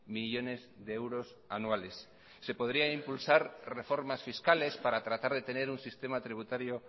millónes de euros anuales se podría impulsar reformas fiscales para tratar de tener un sistema tributario